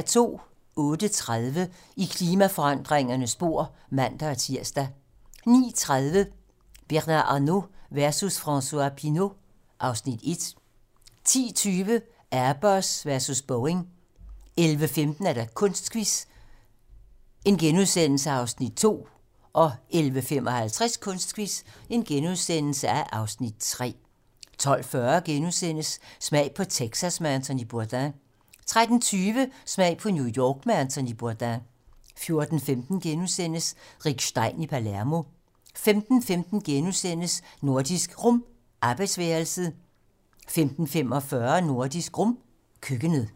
08:30: I klimaforandringernes spor (man-tir) 09:30: Bernard Arnault versus François Pinault (Afs. 1) 10:20: Airbus versus Boeing 11:15: Kunstquiz (Afs. 2)* 11:55: Kunstquiz (Afs. 3)* 12:40: Smag på Texas med Anthony Bourdain * 13:20: Smag på New York med Anthony Bourdain 14:15: Rick Stein i Palermo * 15:15: Nordisk Rum - arbejdsværelset * 15:45: Nordisk Rum - køkkenet